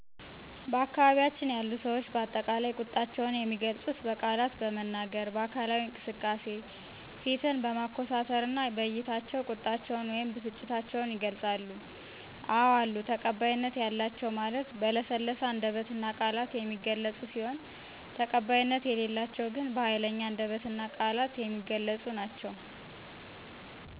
በአካባቢያችን ያሉ ሰዎች በአጠቃላይ ቁጣቸውን የሚገልፁት በቃላት በመናገር፣ በአካላዊ እንቅስቃሴ፣ ፊትን በማኮሳተርና በዕይታቸው ቁጣቸውን ወይም ብስጭታቸውን ይገልፃሉ። አዎ አሉ ተቀባይነት ያላቸው ማለት በለሰለሰ አንደበትና ቃላት የሚገለፁ ሲሆን ተቀባይነት የሌላቸው ግን በሀይለኛ አንደበትና ቃላት የሚገለፁ ናቸው።